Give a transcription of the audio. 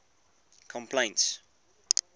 complaints